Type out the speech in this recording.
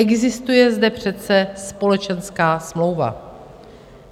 Existuje zde přece společenská smlouva.